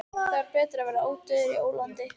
Þá er betra að vera ódauður í ólandi.